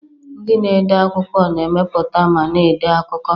Ndị na-ede akwụkwọ na-emepụta ma na-ede akụkọ.